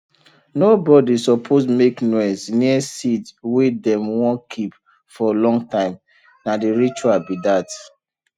nobody suppose make noise near seed wey dem wun keep for long time na the ritual be that